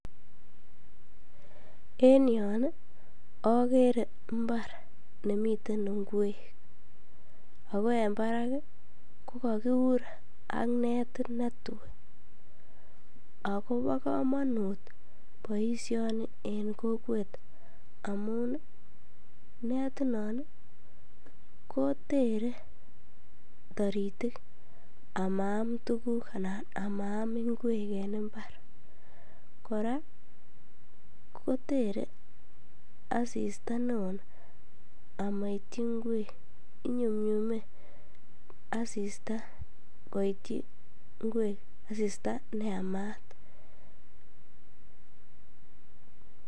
En yoon okere imbar nemiten ing'wek ak ko en barak ko kokiur ak netit netui ak ko bokomonut boishoni en kokwet amun netinon kotere toritik amaam tukuk anan amaam ing'wek en imbar, kora kotere asista neo amoityi ing'wek, inyumnyume asista koityi ing'wek asista neyamat.